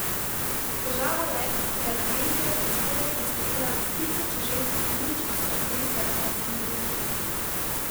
Težava je, da je agencija prispevek naslovila s Tisoče ženskih nindž se uri za iranske morilke.